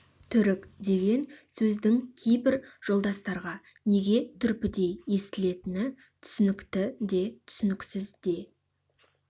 түрік деген сөздің кейбір жолдастарға неге түрпідей естілетіні түсінікті де түсініксіз де